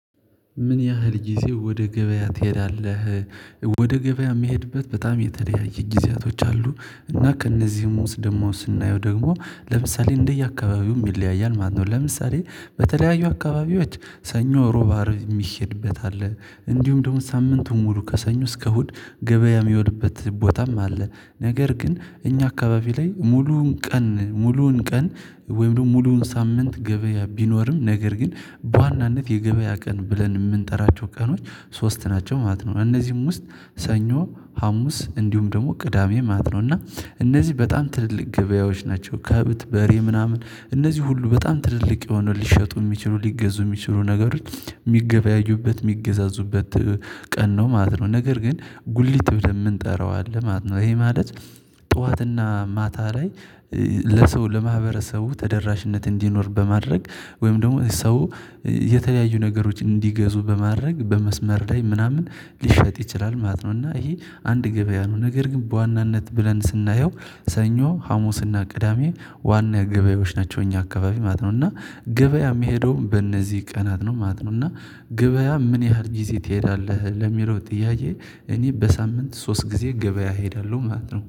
ምን ያህል ጊዜ ወደ ገበያ ትሄዳለህ? ወደ ገበያ የሚሄድበት በጣም የተለያየ ጊዜያቶች አሉ እና ከእነዚህም ውስጥ ደግሞ ስናየው ደግሞ ለምሳሌ እንደየአካባቢውም ይለያያል ማለት ነው። ለምሳሌ፣- በተለያዩ አካባቢዎች ሰኞ፥ ሮባ፥ አርብ የሚሄድበት አለ። እንዲሁም ደግሞ ሳምንቱን ሙሉ ከሰኞ እስከ እሁድ ገበያ የሚሄድበት ቦታም አለ። ነገር ግን እኛ አካባቢ ላይ ሙሉውን ቀን ሙሉውን ቀን ወይም ደግሞ ሙሉውን ሳምንት ገበያ ቢኖርም ነገር ግን በዋናነት የገበያ ቀን ብለን የምንጠራቸው ቀኖች ሶስት ናቸው ማለት ነው። እነዚሁም ውስጥ ሰኞ ሀሙስ እንዲሁም ደግሞ ቅዳሜ ማለት ነው እና እነዚህ በጣም ትልልቅ ገበያዎች ናቸው። ከብት፥ በሬ ምናምን እነዚህ ሁሉ በጣም ትልልቅ የሆነ ሊሸጡ የሚችሉ ሊገዙ የሚችሉ ነገሮች የሚገበያዩበት፤ የሚገዛዙበት ቀን ነው ማለት ነው። ነገር ግን ጉሊት ብለን የምንጠራው አለ ማለት ነው። ይሄ ማለት ጠዋትና ማታ ላይ ለሰው፥ ለማህበረሰቡ ተደራሽነት እንዲኖር በማድረግ ወይም ደግሞ ሰው የተለያዩ ነገሮች እንዲገዙ በማድረግ በመስመር ላይ ምናምን ሊሸጥ ይችላል ማለት ነው። እና ይሄ አንድ ገበያ ነው ነገር ግን በዋናነት ብለን ስናየው ሰኞ፥ ሀሙስና ቅዳሜ ዋና ገበያዎች ናቸው። እኛ አካባቢ ማለት ነው። እና ገበያ የሚሄደውም በእነዚህ ቀናት ነው ማለት ነው። እና ገበያ ምን ያህል ጊዜ ትሄዳለህ? ለሚለው ጥያዬ እኔ በሳምንት ሶስት ጊዜ ገበያ ሄዳለሁ ማለት ነው።